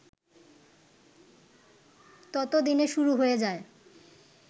ততদিনে শুরু হয়ে যায়